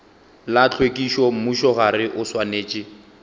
la tlhwekišo mmušogae o swanetše